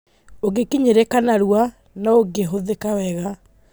ũngĩkinyĩrĩka narua na ũngĩhũthĩka wega.